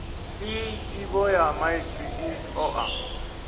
nḓivho ya maipfi i ṱoḓa